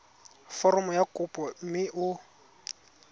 foromo ya kopo mme o